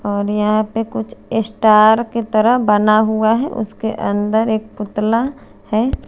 और यहाँ पे कुछ इस्टार की तरह बना हुआ है उसके अन्दर एक पुतला है।